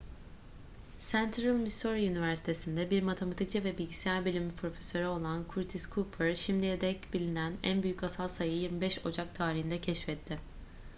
central missouri üniversitesi'nde bir matematikçi ve bilgisayar bilimi profesörü olan curtis cooper şimdiye dek bilinen en büyük asal sayıyı 25 ocak tarihinde keşfetti